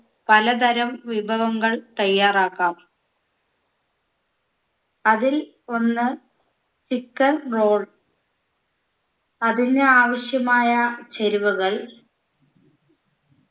പലതരം വിഭവങ്ങൾ തയ്യാറാക്കാം അതിൽ ഒന്ന് chicken roll അതിന് ആവശ്യമായ ചേരുവകൾ